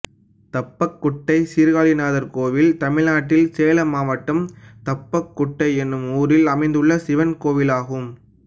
தப்பக்குட்டை சீர்காழிநாதர் கோயில் தமிழ்நாட்டில் சேலம் மாவட்டம் தப்பக்குட்டை என்னும் ஊரில் அமைந்துள்ள சிவன் கோயிலாகும்